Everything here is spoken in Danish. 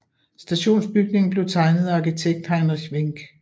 Stationsbygningen blev tegnet af arkitekt Heinrich Wenck